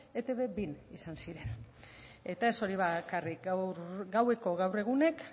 etb bin izan ziren eta ez hori bakarrik gaueko gaur egunek